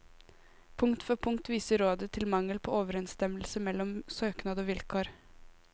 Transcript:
Punkt for punkt viser rådet til mangel på overensstemmelse mellom søknad og vilkår.